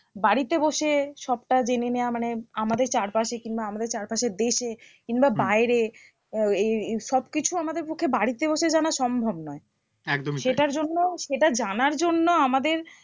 বাড়িতে বসে সবটা জেনে নেওয়া মানে আমাদের চারপাশে কিংবা আমাদের চারপাশের দেশে কিংবা বাইরে আহ এই এই সবকিছু আমাদের পক্ষে বাড়িতে বসে জানা সম্ভব নয় একদমই তাই সেটার জন্য সেটা জানার জন্য আমাদের